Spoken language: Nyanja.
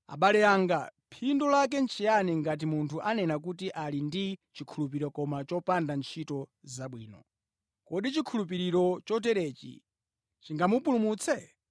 Abale anga, phindu lake nʼchiyani ngati munthu anena kuti ali ndi chikhulupiriro koma chopanda ntchito zabwino? Kodi chikhulupiriro choterechi chingamupulumutse?